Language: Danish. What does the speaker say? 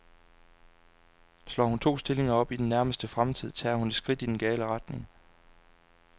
Slår hun to stillinger op i den nærmeste fremtid, tager hun et skridt i den gale retning.